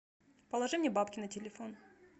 положи мне бабки на телефон